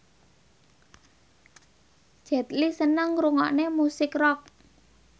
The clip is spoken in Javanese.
Jet Li seneng ngrungokne musik rock